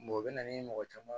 o bɛ na ni mɔgɔ caman ye